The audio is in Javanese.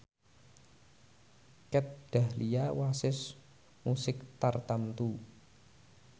Kat Dahlia wasis musik tartamtu